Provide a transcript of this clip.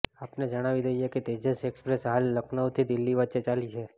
આપને જણાવી દઈએ કે તેજસ એક્સપ્રેસ હાલ લખનૌથી દિલ્હી વચ્ચે ચાલી છે